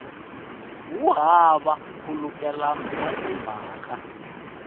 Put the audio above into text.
wu hava nkhulukelano wa timhaka